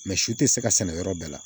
Mɛ si tɛ se ka sɛnɛ yɔrɔ bɛɛ la